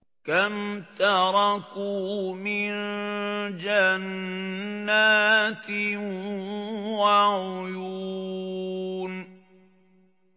كَمْ تَرَكُوا مِن جَنَّاتٍ وَعُيُونٍ